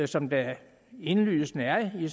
som der indlysende er i